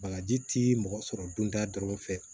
Bagaji ti mɔgɔ sɔrɔ donda dɔrɔn fɛ